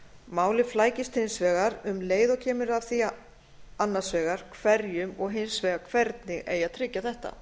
málið flækist hins vegar um leið og kemur að því annars vegar hverjum og hins vegar hvernig eigi að tryggja þetta